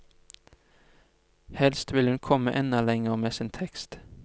Helst vil hun komme enda lenger med sin tekst.